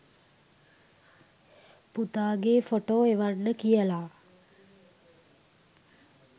පුතාගේ photo එවන්න කියලා.